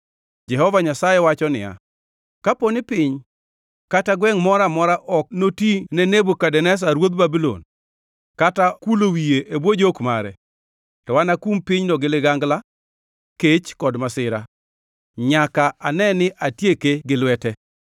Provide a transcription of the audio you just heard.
“‘ “Jehova Nyasaye wacho niya: Kapo ni piny kata gwengʼ moro amora ok noti ne Nebukadneza ruodh Babulon kata kulo wiye e bwo jok mare, to anakum pinyno gi ligangla, kech kod masira, nyaka ane ni atieke gi lwete.